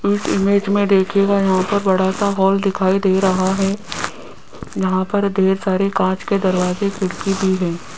इस इमेज में देखियेगा यहां पर बड़ा सा हॉल दिखाई दे रहा है यहां पर ढेर सारे कांच के दरवाजे खिड़की भी हैं।